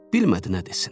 Bilmədi nə desin.